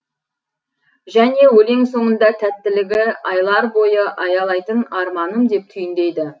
және өлең соңында тәттілігі айлар бойы аялайтын арманым деп түйіндейді